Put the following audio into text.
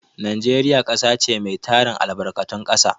Najeriya ƙasa ce mai tarin albarkatun ƙasa.